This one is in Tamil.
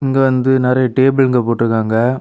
இங்க வந்து நறைய டேபிளுங்க போட்ருக்காங்க.